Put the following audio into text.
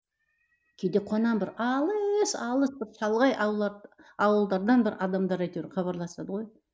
кейде қуанамын бір алыс алыс бір шалғай аула ауылдардан бір адамдар әйтеуір хабарласады ғой